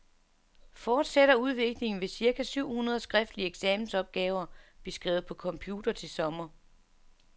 Fortsætter udviklingen, vil cirka syv hundrede skriftlige eksamensopgaver blive skrevet på computer til sommer.